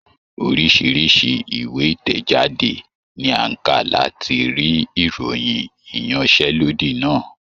Oríṣiríṣi ìwé ìtẹ̀jáde ni a ń kà láti rí ìròyìn ìyanṣẹ́lọ́dì náà.